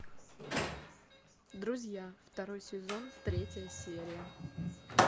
друзья второй сезон третья серия